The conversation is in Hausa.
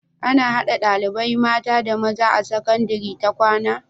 Ana hada ɗalibai mata da maza a sakandari ta kwAna?